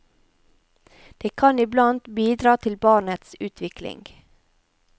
Det kan iblant bidra til barnets utvikling.